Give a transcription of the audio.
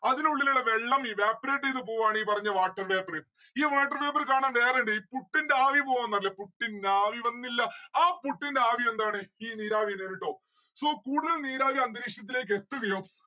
അതിനുള്ളിലുള്ള വെള്ളം evaporate എയ്ത പോവാണ് ഈ പറഞ്ഞ water vapour ഈ water vapour കാണാൻ വേറെ ഇണ്ട് ഈ പുട്ടിന്റെ ആവി പോവാന്ന് അറിയില്ലേ പുട്ടിൻ ആവി വന്നില്ല ആ പുട്ടിന്റെ ആവി എന്താണ്? ഈ നീരാവി ട്ടോ. so കൂടുതൽ നീരാവി അന്തരീക്ഷത്തിലേക്ക് എത്തുകയും